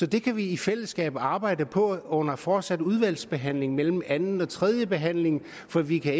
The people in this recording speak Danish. det kan vi i fællesskab arbejde på under en fortsat udvalgsbehandling mellem anden og tredjebehandlingen for vi kan